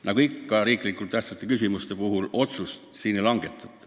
Nagu ikka olulise tähtsusega riikliku küsimuse puhul, otsust täna ei langetata.